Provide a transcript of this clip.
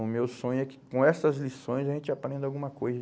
O meu sonho é que com essas lições a gente aprenda alguma coisa.